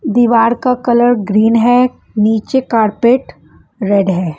दीवार का colour green है नीचे कारपेट रेड है।